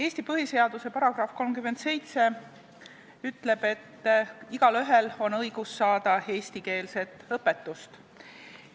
Eesti põhiseaduse § 37 ütleb, et igaühel on õigus saada eestikeelset õpetust.